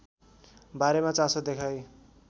बारेमा चासो देखाई